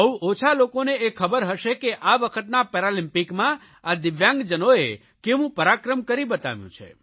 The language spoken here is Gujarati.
બહુ ઓછા લોકોને એ ખબર હશે કે આ વખતના પેરાલમ્પિકમાં આ દિવ્યાંગજનોએ કેવું પરાક્રમ કરી બતાવ્યું છે